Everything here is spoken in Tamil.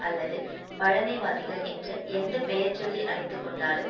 அல்லது பழமைவாதிகள் என்று எந்த பெயர்சொல்லி அழைத்துக்கொண்டாலும்